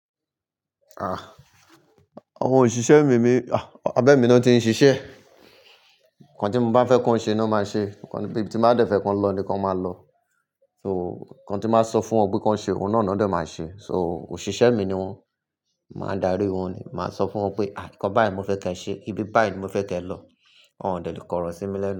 Ah, àwọn òṣìṣẹ́ mi ni, ah, abẹ́ mi ni wọ́n ti ń ṣiṣẹ́. Ǹkan tí mo bá fẹ́ kí wọ́n ṣe ni wọ́n máa ṣe, ibi tí máa dẹ̀ fẹ́ kí wọ́n lọ ni wọ́n máa lọ. So ǹkan tí màá sọ fún wọn pé kí wọ́n ṣe, òun náà ni wọ́n máa ṣe. So òṣìṣẹ́ mi ni wọ́n, màá darí wọ́n ni. Màá sọ fún wọn pé, àh kíá, ǹkan báyìí mo fẹ́ kí ẹ ṣe, ibi báyìí ni mo fẹ́ kí ẹ lọ, wọ́n óò dẹ̀ le kọrọ̀ sí mi lẹ́nu.